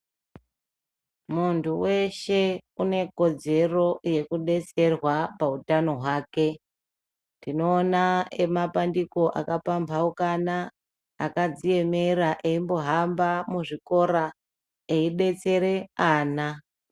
Muntu weshe une kodzero yekudetserwa pautano hwake tinoona emapandiko akapambauuka akadziemera embo hama muzvikora eidetsere ana.